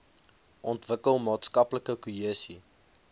ontwikkel maatskaplike kohesie